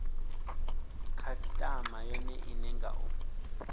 khasitama yone ine nga u